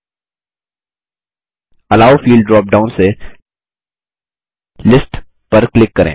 yellow field drop down से list पर click करें